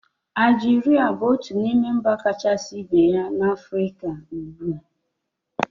Aljiria bụ otu n'ime mba kachasị ibu na Afrịka ugbua